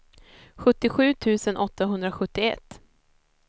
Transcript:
sjuttiosju tusen åttahundrasjuttioett